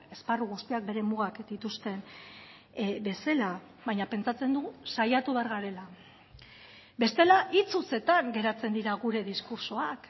esparru guztiak bere mugak dituzten bezala baina pentsatzen dugu saiatu behar garela bestela hitz hutsetan geratzen dira gure diskurtsoak